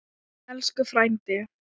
Elsku frændi.